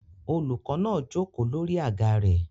Olùkọ́ náà jókòó lórí àga rẹ̀